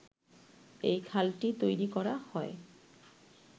এই খালটি তৈরি করা হয়